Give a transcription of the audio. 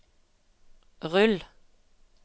rull